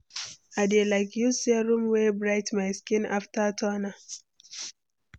I dey like use serum wey bright my skin after toner.